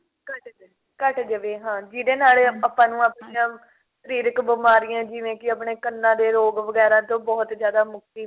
ਘੱਟ ਜੇ ਘੱਟ ਜਾਵੇ ਹਾਂ ਜਿਹਦੇ ਨਾਲ ਆਪਾਂ ਨੂੰ ਆਪਣੀਆ ਸ਼ਰੀਰਕ ਬਿਮਾਰੀਆਂ ਜਿਵੇਂ ਕਿ ਆਪਣੇ ਕੰਨਾ ਦੇ ਰੋਗ ਵਗੇਰਾ ਤੋਂ ਬਹੁਤ ਜ਼ਿਆਦਾ ਮੁਕਤੀ